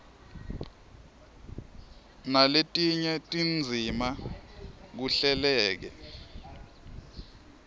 naletinye tindzima kuhleleke